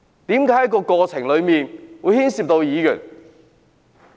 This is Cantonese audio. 為何在過程中會牽涉議員？